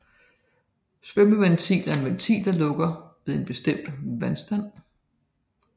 Svømmerventil er en ventil der lukker ved en bestemt vandstand